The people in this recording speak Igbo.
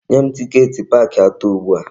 Nye m tiket park ato ugbu a!